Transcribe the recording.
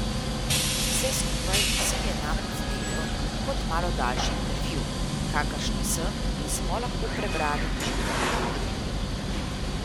Vse skupaj se mi je namreč zdelo kot malo daljši intervju, kakršne sem in smo lahko prebrali že tudi kje drugje.